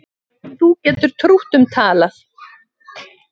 Þú getur trútt um talað